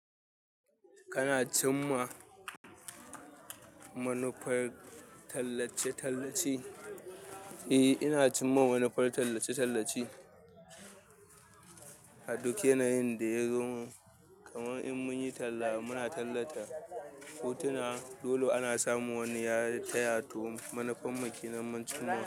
Kana cima manufar talace talace eh ina cima manufar talace talace a duk yanayin da ya zo min kaman in munyi tala mun talata hotona dole ana samun wani ya taya manufar mu ke nan mun cimma.